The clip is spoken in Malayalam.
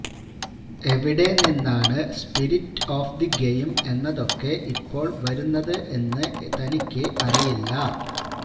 എവിടെ നിന്നാണ് സ്പിരിറ്റ് ഓഫ് ദി ഗെയിം എന്നതൊക്കെ ഇപ്പോള് വരുന്നത് എന്ന് തനിക്ക് അറിയില്ല